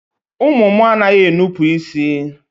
Ụmụ mụ a naghị enupu isi.